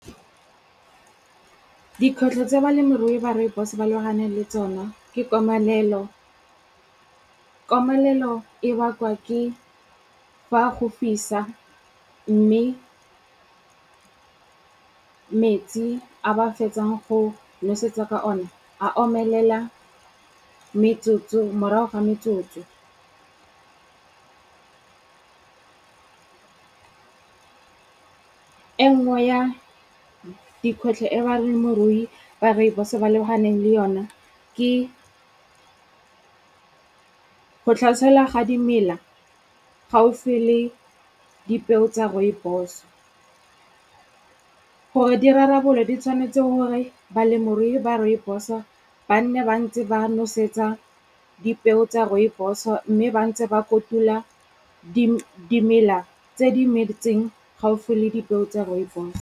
Dikgwetlho tse balemirui ba rooibos ba lebagane le tsona, ke komanelo. Komanelo e bakwa ke fa go fisa mme metsi a ba fetsang go nosetsa ka one a omelela morago ga metsotso. E nngwe ya dikgwetlho e ba reng morui wa rooibos-o ba lebaganeng le yona, ke go tlhaselwa ga dimela gaufi le dipeo tsa rooibos-o. Gore di rarabollwe, di tshwanetse gore balemirui ba rooibos-o ba nne ba ntse ba nosetsa dipeo tsa rooibos-o mme ba ntse ba kotula dimela tse di metseng gaufi le dipeo tsa rooibos.